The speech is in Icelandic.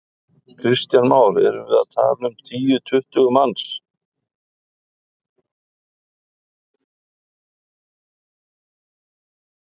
Kristján Már: Erum við að tala um tíu, tuttugu manns?